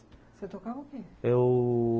Você tocava o quê? eu...